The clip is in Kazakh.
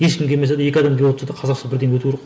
ешкім келмесе де екі адам келіп отырса да қазақша бірдеңе өту керек